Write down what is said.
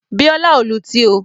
Bíọ́lá ò lutí o.